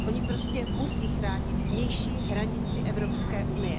Oni prostě musí chránit vnější hranici EU.